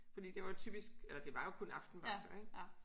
Fordi det var typisk eller det var jo kun aftenvagter ik